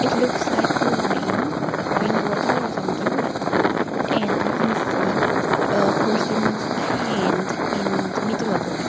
it looks like a wine wine bottle or something but and we can see a person's hand in the middle of the pict--